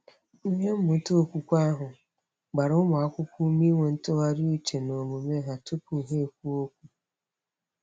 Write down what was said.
Ihe mmụta okwukwe ahụ gbara ụmụakwụkwọ ume inwe ntụgharị uche n’omume ha tụpụ ha ekwuo okwu.